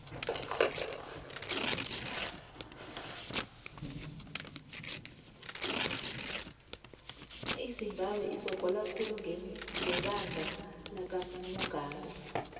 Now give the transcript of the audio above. izimbabwe isogola khulu ngebanga lakamugabe